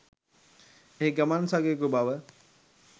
එහි ගමන් සගයෙකු බව